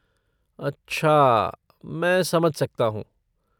अच्छा, मैं समझ सकता हूँ।